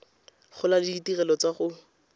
gola le ditirelo tsa go